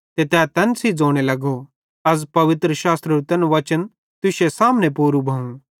ते तै तैन सेइं ज़ोने लगो अज़ पवित्रशास्त्रेरू तैन वचन तुश्शे सामने पूरू भोवं